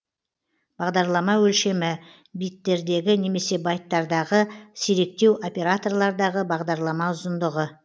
бағдарлама өлшемі биттердегі немесе байттардағы сиректеу операторлардағы бағдарлама ұзындығы